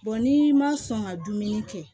n'i ma sɔn ka dumuni kɛ